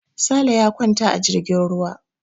Sale ya kwanta a jirgin ruwa.